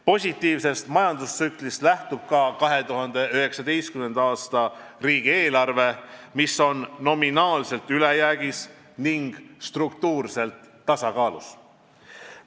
Positiivsest majandustsüklist lähtub ka 2019. aasta riigieelarve, mis on nominaalselt ülejäägis ning struktuurselt tasakaalus.